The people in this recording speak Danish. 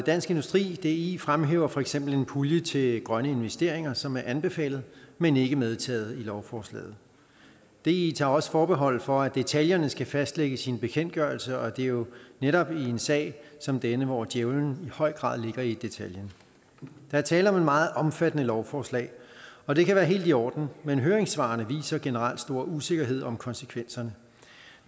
dansk industri di fremhæver for eksempel en pulje til grønne investeringer som er anbefalet men ikke medtaget i lovforslaget di tager også forbehold for at detaljerne skal fastlægges i en bekendtgørelse og at det jo netop er i en sag som denne hvor djævelen i høj grad ligger i detaljen der er tale om et meget omfattende lovforslag og det kan være helt i orden men høringssvarene viser generelt stor usikkerhed om konsekvenserne